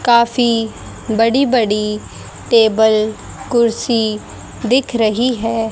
काफी बड़ी बड़ी टेबल कुर्सी दिख रही है।